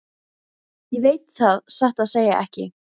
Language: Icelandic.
Ég veit það satt að segja ekki.